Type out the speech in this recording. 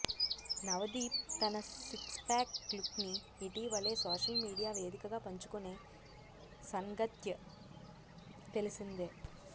నవదీప్ తన six pack లుక్ని ఇటీవలే సోషల్ మీడియా వేదికగా పంచుకునే సన్గత్య్ తెలిసిందే